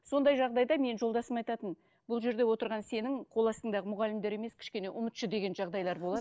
сондай жағдайда менің жолдасым айтатын бұл жерде отырған сенің қол астыңдағы мұғалімдер емес кішкене ұмытшы деген жағдайлар болады